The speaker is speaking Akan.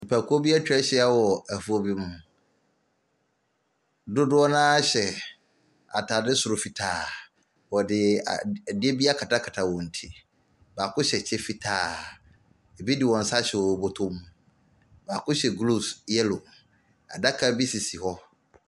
Nnipakuo bi atwa ahyia wɔ afuo bi mu, dodoɔ no ara hyɛ ataadeɛ soro fitaa, wɔde a adeɛ bi akatakata wɔn ti baako hyɛ kyɛ fitaa bi de wɔn so ahyɛ wɔn bɔtɔ mu, baako hyɛ gloves yellow, adaka bi sisi hɔ.